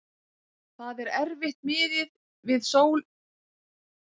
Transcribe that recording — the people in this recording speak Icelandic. Það er erfitt miðið við Portúgal þar sem það er sól á hverjum degi.